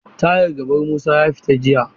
Tayar gaban Musa ya fita jiya.